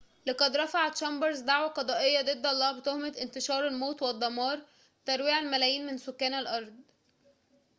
لقد رفع تشامبرز دعوى قضائيةً ضد الله بتهمة انتشار الموت والدمار ترويع الملايين من سكان الأرض